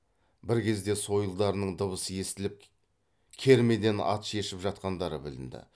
бір кезде сойылдарының дыбысы естіліп кермеден ат шешіп жатқандары білінді